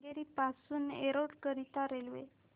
केंगेरी पासून एरोड करीता रेल्वे